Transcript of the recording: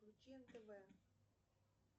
включи нтв